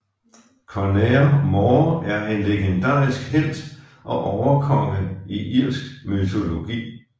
Conaire Mór er en legendarisk helt og overkonge i irsk mytologi